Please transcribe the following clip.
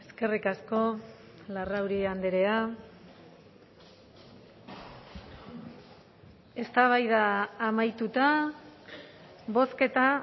eskerrik asko larrauri andrea eztabaida amaituta bozketa